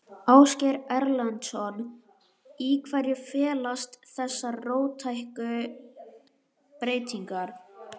Ásgeir Erlendsson: Í hverju felast þessar róttæku breytingar?